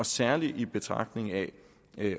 særlig i betragtning af